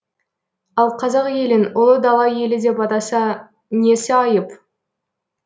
ал қазақ елін ұлы дала елі деп атаса несі айып